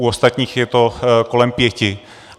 U ostatních je to kolem pěti.